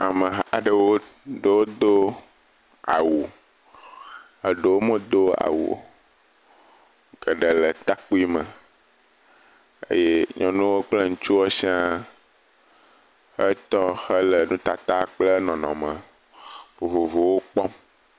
Ameha aɖewo ɖewo do awu, eɖewo medo awu o eɖe le ɖekakpui me eye nyɔnuwo kple ŋutsuwo sia etɔ hele nutata kple nɔnɔme vovovowo kpɔm.